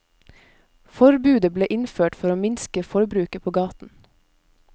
Forbudet ble innført for å minske forbruket på gaten.